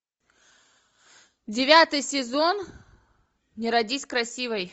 девятый сезон не родись красивой